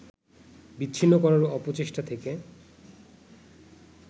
বিচ্ছিন্ন করার অপচেষ্টা থেকে